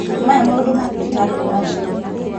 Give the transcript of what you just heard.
Maya maũndũ ma thibitarĩ nĩ maritũ